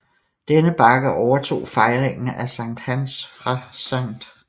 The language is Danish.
Denne bakke overtog fejringen af Sankt Hans fra St